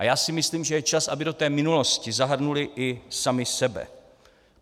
A já si myslím, že je čas, aby do té minulosti zahrnuli i sami sebe.